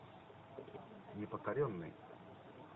непокоренный